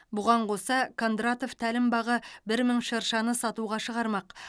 бұған қоса кондратов тәлімбағы бір мың шыршаны сатуға шығармақ